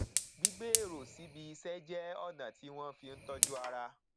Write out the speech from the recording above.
gbígbé èrò síbi iṣẹ jẹ ọnà tí wọn fi ń tọjú ara